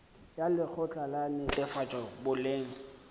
ya lekgotla la netefatšo boleng